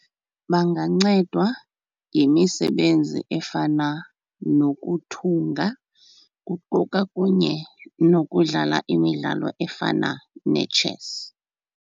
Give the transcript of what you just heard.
Bangancedwa yimisebenzi efana nokuthunga kuquka kunye nokudlala imidlalo efana netshesi.